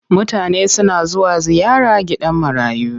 Mutane suna zuwa ziyara gidan marayu.